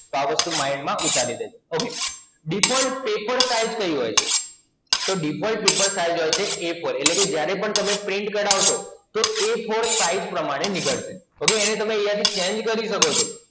આ બધુ Mind માં ઉતારી દેજો. OkayDefault Paper Size કઈ હોય છે? તો Default Paper Size હોય છે A ચાર, એટલે કે જ્યારે પણ તમે Print કઢાવશો તો A ચાર Size પ્રમાણે નીકળશે. જોકે એને તમે અહિયાં થી Change કરી શકો છો.